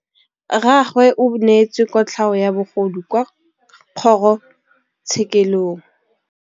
Rragwe o neetswe kotlhaô ya bogodu kwa kgoro tshêkêlông.